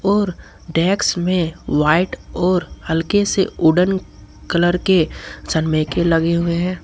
और डेक्स में व्हाइट और हल्के से उड़न कलर के सनमाइके लगे हुए हैं।